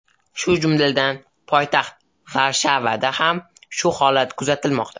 Shu jumladan, poytaxt Varshavada ham shu holat kuzatilmoqda.